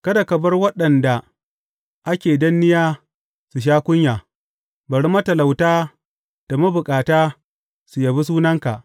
Kada ka bar waɗanda ake danniya su sha kunya; bari matalauta da mabukata su yabe sunanka.